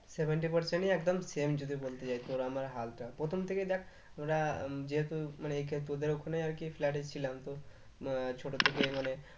Seventy percent ই একদম same যদি বলতে চাই তোর আমার হালটা প্রথম থেকেই দেখ যেহেতু তোদের ওখানে আরকি flat এ ছিলাম তো ছোট থেকে মানে